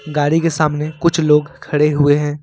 गाड़ी के सामने कुछ लोग खड़े हुए हैं।